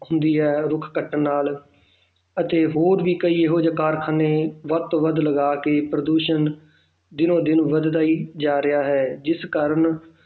ਹੁੰਦੀ ਹੈ ਰੁੱਖ ਕੱਟਣ ਨਾਲ ਅਤੇ ਹੋਰ ਵੀ ਕਈ ਇਹੋ ਜਿਹੇ ਕਾਰਖਾਨੇ ਵੱਧ ਤੋਂ ਵੱਧ ਲਗਾ ਕੇ ਪ੍ਰਦੂਸ਼ਣ ਦਿਨੋਂ ਦਿਨ ਵੱਧਦਾ ਹੀ ਜਾ ਰਿਹਾ ਹੈ ਜਿਸ ਕਾਰਨ